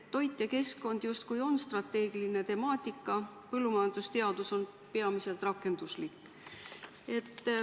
Toit ja keskkond justkui on strateegiline temaatika, põllumajandusteadus on peamiselt rakenduslik.